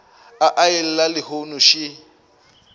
a e llela lehono še